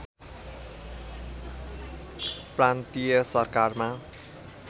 प्रान्तीय सरकारमा